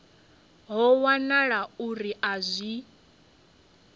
ho wanala uri a zwi